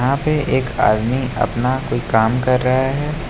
यहां पे एक आदमी अपना कोई काम कर रहा है।